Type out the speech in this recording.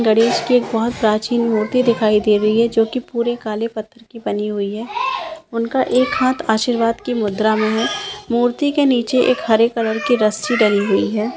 गणेश की एक बहुत प्राचीन मूर्ति दिखाइ दे रही है जोकी पुरी काले पत्थर की बनी हुइ है। इनका एक हाथ आशीर्वाद के मुद्रा में है मूर्ति के नीचे एक हरे कलर की रस्सी डली हुइ है।